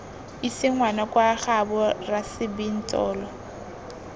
ise ngwana kwa gaabo rasebintsolo